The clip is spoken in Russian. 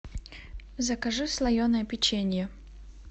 закажи слоеное печенье